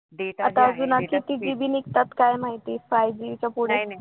आता असे अजून किती ते निघतात काय माहिती five G च्या पुढं